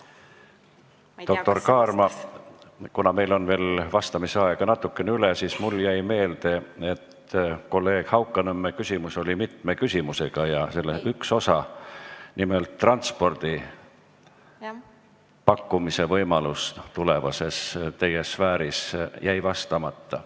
Doktor Kaarma, kuna meil on veel vastamise aega natukene üle, siis mul jäi meelde, et kolleeg Haukanõmme küsimus oli mitme küsimusega ja selle üks osa, nimelt transpordi pakkumise võimalus tulevases teie sfääris jäi vastamata.